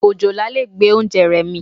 Òjòlá lè gbé oúnjẹ rẹ mì.